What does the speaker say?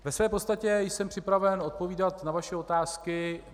Ve své podstatě jsem připraven odpovídat na vaše otázky.